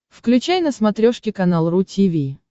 включай на смотрешке канал ру ти ви